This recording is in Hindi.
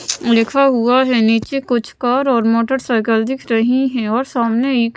लिखा हुआ हैं नीचे कुछ कार और मोटरसाइकिल दिख रही हैं और सामने एक--